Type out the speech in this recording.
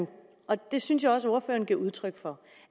og jeg synes også at ordføreren giver udtryk for